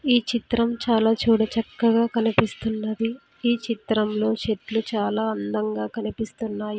ఈ చిత్రం చాలా చూడచక్కగా కనిపిస్తున్నది ఈ చిత్రంలో చెట్లు చాలా అందంగా కనిపిస్తున్నాయి.